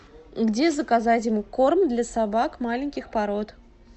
где заказать корм для собак маленьких пород